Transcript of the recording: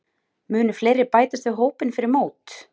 Munu fleiri bætast við hópinn fyrir mót?